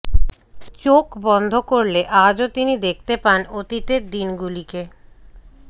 চোখ বন্ধ করলে আজও তিনি দেখতে পান অতিতের দিনগুলিকে